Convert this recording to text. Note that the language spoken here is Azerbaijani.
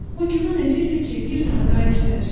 O güman edirdi ki, bir daha qayıtmayacaq.